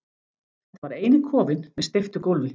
Þetta var eini kofinn með steyptu gólfi.